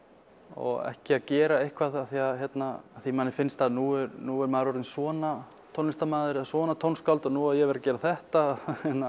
og ekki að gera eitthvað af því að því að manni finnst að nú nú sé maður orðinn svona tónlistarmaður eða svona tónskáld og nú á ég að vera að gera þetta